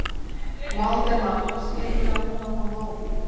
Valdimar, skyndilega búinn að fá nóg.